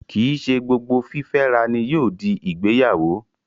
Kìí ṣe gbogbo fífẹ́ra ni yóò di ìgbéyàwó